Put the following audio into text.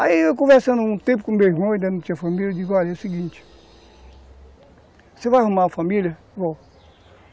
Aí eu conversando um tempo com o meu irmão, ele ainda não tinha família, eu digo, olha, é o seguinte, você vai arrumar uma família? Vou!